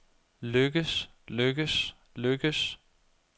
lykkes lykkes lykkes